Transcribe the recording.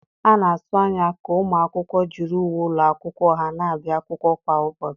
A na-atụ anya ka ụmụ akwụkwọ jiri uwe ụlọ akwụkwọ ha na-abịa akwụkwọ kwa ụbọchị.